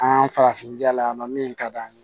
An farafin ja la min ka d'an ye